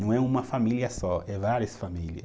Não é uma família só, é várias família.